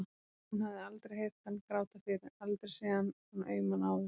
Hún hafði aldrei heyrt hann gráta fyrr, aldrei séð hann svona auman áður.